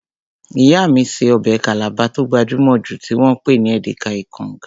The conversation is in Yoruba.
Ìyá mí ṣe ọbẹ̀ Calabar tó gbajúmọ̀ jù tí wọ́n pè ní Edika-ikong